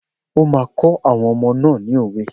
O máa kọ́ àwọn ọmọ náà ni òwe!